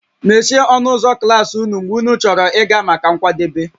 Mechie ọnụ ụzọ ụlọ klas ụnụ mgbe ụnụ chọrọ ịga maka nkwadebe